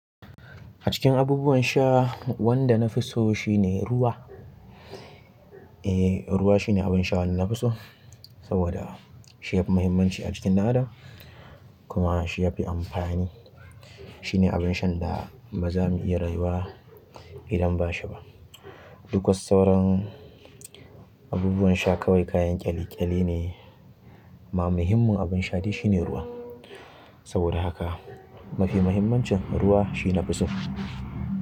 A cikin abubuwan sha wanda na fi so shine ruwa. Eh ruwa shine abinsha wanda na fi so saboda shi ya fi mahimmanci a jikin ɗan adam kuma shi ya fi amfanj shine abin shan da ba za mu iya rayuwa idan bashi ba. Duk wasu sauran abubuwan sha kawai kayan ƙyale ƙyale ne amma muhimmin abin sha dai shine ruwa. Saboda haka mafi muhimmancin ruwa shine na fi so.